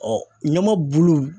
ɲama bulu